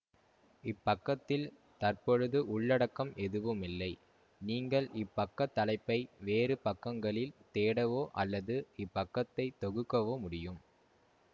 இப் பக்கத்தில் தற்பொழுது உள்ளடக்கம் எதுவுமில்லை நீங்கள் இப்பக்க தலைப்பை வேறு பக்கங்களில் தேடவோ அல்லது இப்பக்கத்தை தொகுக்கவோ முடியும்